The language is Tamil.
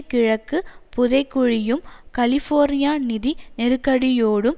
கிழக்கு புதைகுழியும் கலிஃபோர்னிய நிதி நெருக்கடியோடும்